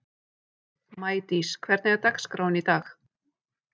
Maídís, hvernig er dagskráin í dag?